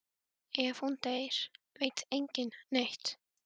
Ef hún deyr veit enginn neitt.